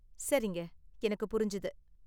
சரிங்க, எனக்கு புரிஞ்சது.